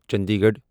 Chandi Garh